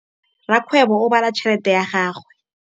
Rakgwêbô o bala tšheletê ya gagwe.